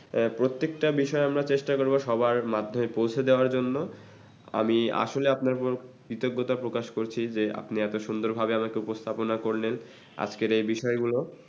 আ প্রত্যেকটা বিষয় আমরা চেষ্টা করবো সবার মধ্যে পৌঁছে দেওয়ার জন্য। আমি আসলে আপনার উপর কৃতজ্ঞতা প্রকাশ করছি যে আপনি এত সুন্দরভাবে আমাকে উপস্থাপনা করলেন আজকের এই বিষয়গুলো,